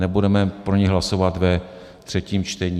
Nebudeme pro ni hlasovat ve třetím čtení.